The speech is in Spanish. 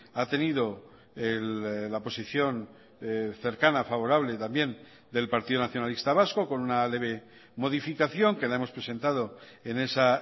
ha tenido la posición cercana favorable también del partido nacionalista vasco con una leve modificación que la hemos presentado en esa